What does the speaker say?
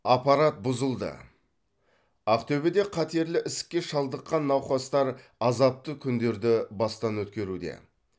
аппарат бұзылды ақтөбеде қатерлі ісікке шалдыққан науқастар азапты күндерді бастан өткеруде